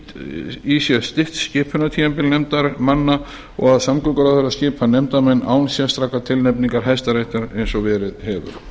fela í sér stytt skipunartímabil nefndarmanna og að samgönguráðherra skipar nefndarmenn án sérstakrar tilnefningar hæstaréttar eins og verið hefur